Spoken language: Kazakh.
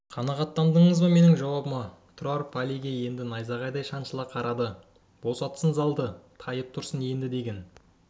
қанағаттандыңыз ба менің жауабыма тұрар палийге енді найзағайдай шаншыла қарады босатсын залды тайып тұрсын енді деген